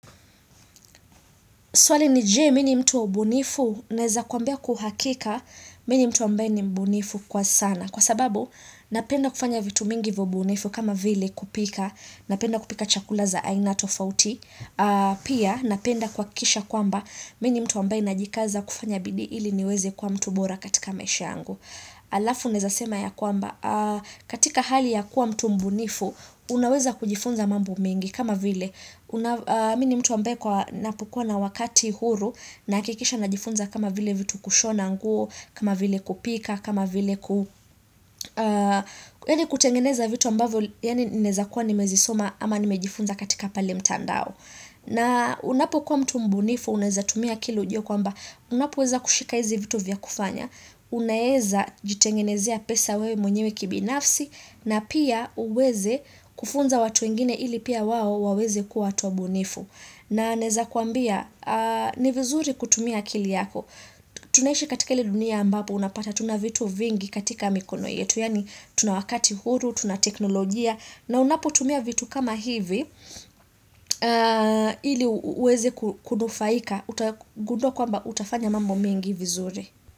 Swali ni je, mini mtu wa ubunifu, naeza kuambia kwa uhakika, mi ni mtu ambaye ni mbunifu kwa sana. Kwa sababu, napenda kufanya vitu mingi vya ubunifu kama vile kupika, napenda kupika chakula za aina tofauti. Pia, napenda kuhakikisha kwamba, mini mtu ambaye najikaza kufanya bidii ili niweze kuwa mtu bora katika maisha yangu. Alafu, naeza sema ya kwamba, katika hali ya kuwa mtu mbunifu, unaweza kujifunza mambo mengi kama vile. Mini mtu ambaye kwa napokuwa na wakati huru nahakikisha na jifunza kama vile vitu kushona nguo kama vile kupika, kama vile kutengeneza vitu ambavyo Yani naeza kuwa nimezisoma ama ni mejifunza katika pale mtandao na unapo kuwa mtu mbunifu, unaeza tumia akili ujue kwamba Unapoweza kushika hizi vitu vya kufanya Unaeza jitengenezea pesa wewe mwenyewe kibinafsi na pia uweze kufunza watu wengine ili pia wao waweze kuwa watu wabunifu na naeza kuambia ni vizuri kutumia akili yako tunaishi katika ile dunia ambapo unapata tuna vitu vingi katika mikono yetu Yani tuna wakati huru, tuna teknolojia na unapotumia vitu kama hivi ili uweze kudufaika utagundua kwamba utafanya mambo mengi vizuri.